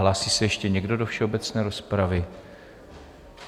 Hlásí se ještě někdo do všeobecné rozpravy?